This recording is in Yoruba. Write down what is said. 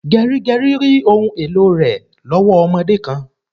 Gerigeri rí ohùn èlò rẹ lowo ọmọdé kan